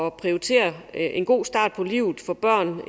at prioritere en god start på livet for børn